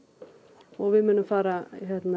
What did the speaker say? og við munum fara